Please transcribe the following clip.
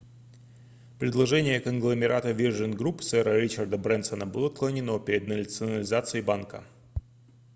предложение конгломерата virgin group сэра ричарда брэнсона было отклонено перед национализацией банка